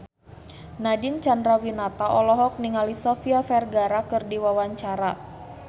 Nadine Chandrawinata olohok ningali Sofia Vergara keur diwawancara